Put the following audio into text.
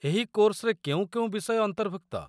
ଏହି କୋର୍ସରେ କେଉଁ କେଉଁ ବିଷୟ ଅନ୍ତର୍ଭୁକ୍ତ?